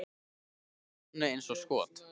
Það rennur af manni eins og skot.